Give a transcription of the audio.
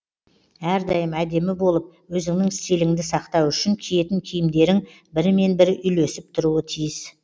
әрдайым әдемі болып өзіңнің стиліңді сақтау үшін киетін киімдерің бірімен бірі үйлесіп тұруы тиіс